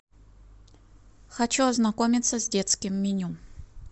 хочу ознакомиться с детским меню